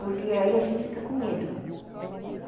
Porque aí a gente fica com medo.